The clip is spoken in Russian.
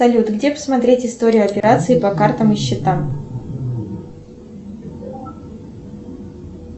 салют где посмотреть историю операций по картам и счетам